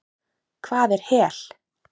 Hvað er hel?